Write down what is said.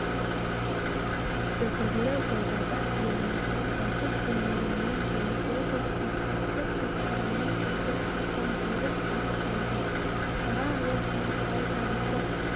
дүбірлі додада еліміздің батыс өңірінен және облыстың түкпір-түкпірінен келген астамжүйрік бақ сынады шара аясында тай жарысы